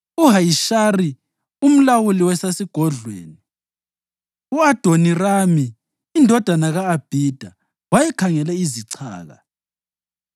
u-Ahishari umlawuli wasesigodlweni, u-Adonirami indodana ka-Abhida wayekhangele izichaka.